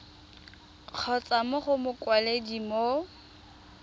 kgotsa mo go mokwaledi mo